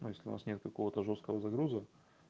ну если у нас нет какого-то жёсткого загруза